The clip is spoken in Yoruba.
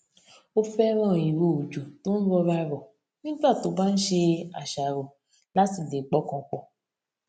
ó féràn ìro òjò tó n rọra rò nígbà tó bá ń ṣe àṣàrò láti lè pọkàn pọ